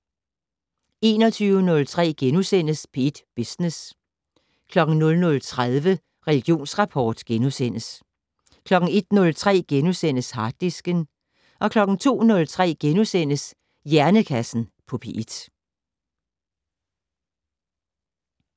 21:03: P1 Business * 00:30: Religionsrapport * 01:03: Harddisken * 02:03: Hjernekassen på P1 *